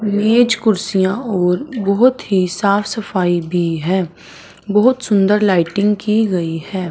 मेज कुर्सियां और बहोत ही साफ सफ़ाई भी है बहोत सुंदर लाइटिंग की गई है।